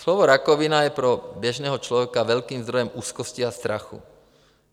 Slovo rakovina je pro běžného člověka velkým zdrojem úzkosti a strachu.